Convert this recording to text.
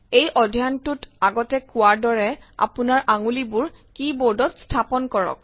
এই অধ্যায়টোত আগতে কোৱাৰ দৰে আপোনাৰ আঙুলিবোৰ কী বোৰ্ডত স্থাপন কৰক